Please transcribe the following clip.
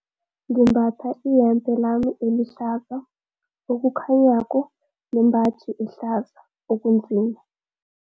Ngimbatha iyembe lami elihlaza okukhanyako nembaji ehlaza okunzima.